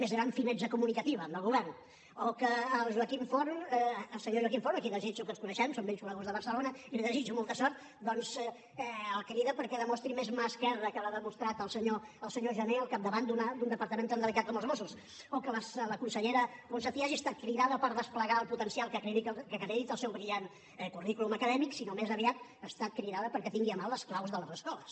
més gran finezza comunicativa del govern o que al senyor joaquim forn que ens coneixem som vells coneguts de barcelona i li desitjo molta sort doncs el crida perquè demostri més mà esquerra que la que ha demostrat el senyor jané al capdavant d’un departament tan delicat com els mossos o que la consellera ponsatí hagi estat cridada per desplegar el potencial que acredita el seu brillant currículum acadèmic sinó que més aviat ha estat cridada perquè tingui a mà les claus de les escoles